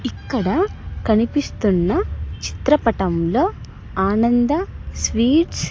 ఇక్కడ కనిపిస్తున్న చిత్రపటంలో ఆనంద స్వీట్స్ .